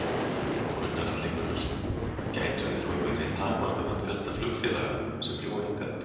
Gunnar Atli Gunnarsson: Gætum við þá einhvern veginn takmarkað þann fjölda flugfélaga sem fljúga hingað?